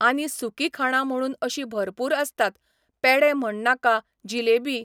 आनी सुकी खाणां म्हणून अशीं भरपूर आसतात, पेडे म्हणनाका, जिलेबी.